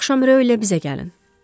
Bu axşam Raullə bizə gəlin.